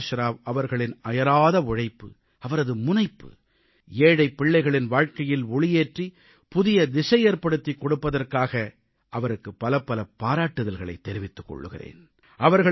பிரகாஷ் ராவ் அவர்களின் அயராத உழைப்பு அவரது முனைப்பு ஏழைப் பிள்ளைகளின் வாழ்க்கையில் ஒளியேற்றி புதிய திசையேற்படுத்திக் கொடுப்பதற்காக அவருக்கு பலபல பாராட்டுதல்களைத் தெரிவித்துக் கொள்கிறேன்